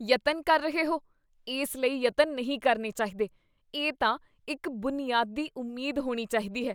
ਯਤਨ ਕਰ ਰਹੇ ਹੋ? ਇਸ ਲਈ ਯਤਨ ਨਹੀਂ ਕਰਨੇ ਚਾਹੀਦੇ, ਇਹ ਤਾਂ ਇੱਕ ਬੁਨਿਆਦੀ ਉਮੀਦ ਹੋਣੀ ਚਾਹੀਦੀ ਹੈ।